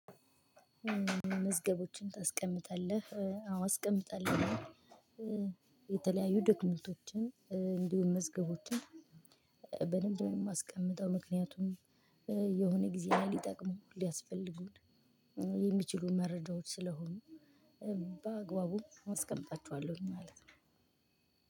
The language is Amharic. መዝገቦችን ታስቀምጣለህ? አዎ አስቀምጣለሁኝ። የተለያዩ ዶክመንቶችን እንዲሁም መዝገቦችን በደንብ ነው የማስቀምጠው ምክንያቱም የሆነ ጊዜ ላይ ሊጠቅሙን ሊያስፈልጉን የሚችሉ መረጃዎች ስለሆኑ። በአግባቡ አስቀምጣቸኋለሁኝ ማለት ነው።